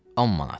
10 manat.